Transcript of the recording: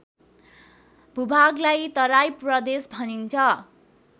भूभागलाई तराई प्रदेश भनिन्छ